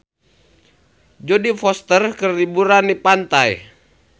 Jodie Foster keur liburan di pantai